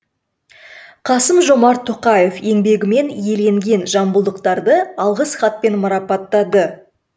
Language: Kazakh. қасым жомарт тоқаев еңбегімен еленген жамбылдықтарды алғыс хатпен марапаттады